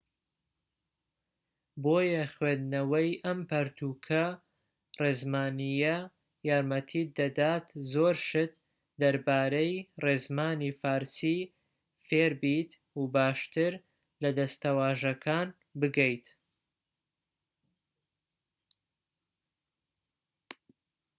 بۆیە خوێندنەوەی ئەم پەرتووکە ڕێزمانیە یارمەتیت دەدات زۆر شت دەربارەی ڕێزمانی فارسی فێربیت و باشتر لە دەستەواژەکان بگەیت‎